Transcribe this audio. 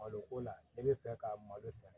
Malo ko la e bɛ fɛ ka malo sɛnɛ